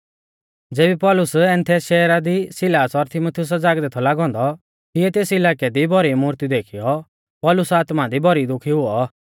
ज़ेबी पौलुस एथेंस शहरा दी सिलास और तीमुथियुसा ज़ागदै थौ लागौ औन्दौ तिऐ तेस इलाकै दी भौरी मूर्ती देखीयौ पौलुसा आत्मा दी भौरी दुखी हुऔ